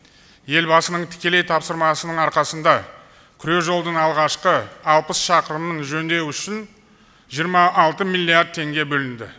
елбасының тікелей тапсырмасының арқасында күре жолдың алғашқы алпыс шақырымын жөндеу үшін жиырма алты миллиард теңге бөлінді